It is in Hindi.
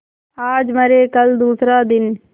आज मरे कल दूसरा दिन